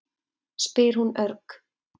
spyr hún örg.